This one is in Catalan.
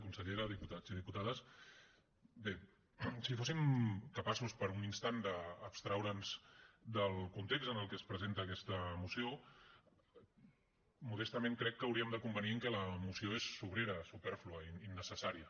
consellera diputats i diputades bé si fóssim capaços per un instant d’abstreure’ns del context en el que es presenta aquesta moció modestament crec que hauríem de convenir en que la moció és sobrera supèrflua innecessària